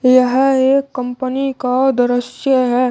यह एक कंपनी का दृश्य है।